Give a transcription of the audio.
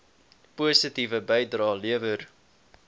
positiewe bydrae lewer